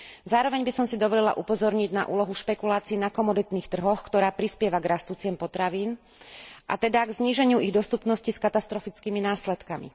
Zároveň by som si dovolila upozorniť na úlohu špekulácií na komoditných trhoch, ktorá prispieva k rastu cien potravín, a teda k zníženiu ich dostupnosti s katastrofickými následkami.